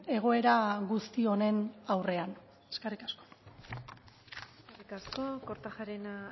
egoera guzti honen aurrean eskerrik asko eskerrik asko kortajarena